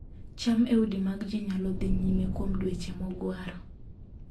cham e udi mag ji nyalo dhi nyime kuom dweche mogwaro